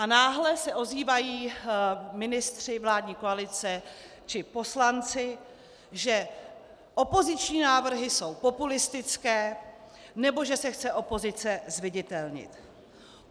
A náhle se ozývají ministři vládní koalice či poslanci, že opoziční návrhy jsou populistické, nebo že se chce opozice zviditelnit.